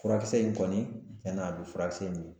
Furakisɛ in kɔni tiɲɛn'a be furakisɛ in